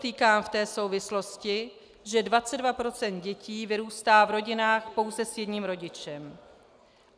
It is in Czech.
Podotýkám v té souvislosti, že 22 % dětí vyrůstá v rodinách pouze s jedním rodičem.